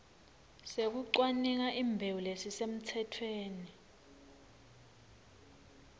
sekucwaninga imbewu lesisemtsetfweni